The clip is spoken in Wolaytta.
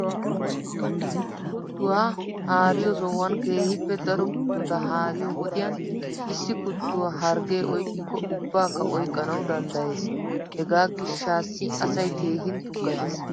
Kuttuwaa haariyoo sohuwan keehippe daro kuttota haariyo wodiyan issi kuttuwaa harggee oyqqikko ubbaakka oyqqanawu danddayees. Hegaa gishshassi asay keehin tuggatees.